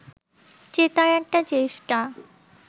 জেতার একটা চেষ্টা